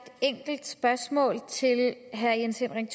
enkelt spørgsmål til herre jens henrik